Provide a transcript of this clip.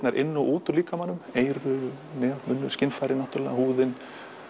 inn og út úr líkamanum eyru munnur skynfærin húðin